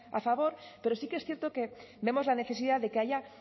a favor pero sí que es cierto que vemos la necesidad de que haya